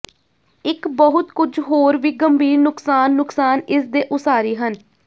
ਇੱਕ ਬਹੁਤ ਕੁਝ ਹੋਰ ਵੀ ਗੰਭੀਰ ਨੁਕਸਾਨ ਨੁਕਸਾਨ ਇਸ ਦੇ ਉਸਾਰੀ ਹਨ